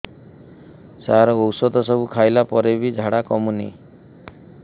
ସାର ଔଷଧ ସବୁ ଖାଇଲା ପରେ ବି ଝାଡା କମୁନି